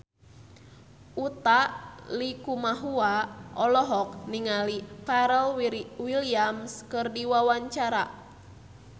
Utha Likumahua olohok ningali Pharrell Williams keur diwawancara